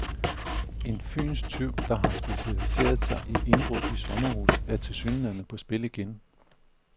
En fynsk tyv, der har specialiseret sig i indbrud i sommer huse, er tilsyneladende på spil igen.